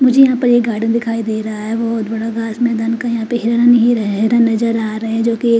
मुझे यहाँ पे एक गार्डन दिखाई दे रहा है बहोत बड़ा घास मैदान का यहाँ पे हिरन ही है हिरन नज़र आरहे है जो की--